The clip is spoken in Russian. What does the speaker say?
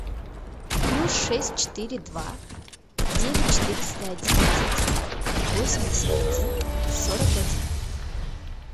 плюс шесть четыре два девять четыреста одиннадцать восемьдесят один сорок один